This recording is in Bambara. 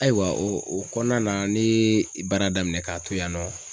Ayiwa o kɔnɔna na ne ye baara daminɛ k'a to yen nɔ.